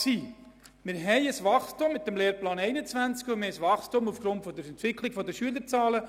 Wir haben ein Wachstum mit dem Lehrplan 21, und wir haben ein Wachstum aufgrund der Entwicklung der Schülerzahlen.